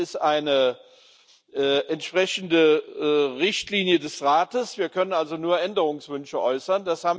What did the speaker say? Es ist eine entsprechende Richtlinie des Rates, wir können also nur Änderungswünsche äußern.